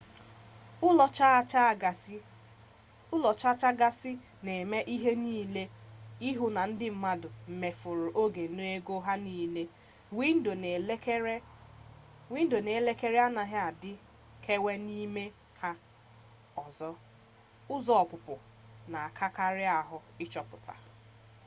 ụlọ chaa chaa gasị na-eme ihe niile ịhụ na ndị mmadụ mefuru oge na ego ha niile windo na elekere anaghị adịkewe n'ime ha ọzọ ụzọ ọpụpụ na-arakarị ahụ ịchọta